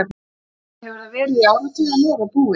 Þannig hefur það verið í áratug en nú er það búið.